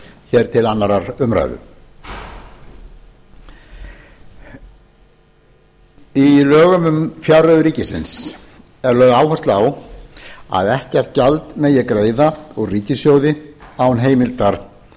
hér til annarrar umræðu í lögum um fjárreiður ríkisins er lögð áhersla á að ekkert gjald megi greiða úr ríkissjóði án heimildar